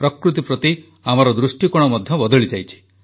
ପ୍ରକୃତି ପ୍ରତି ଆମର ଦୃଷ୍ଟିକୋଣ ମଧ୍ୟ ବଦଳିଯାଇଛି